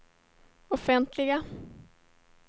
offentliga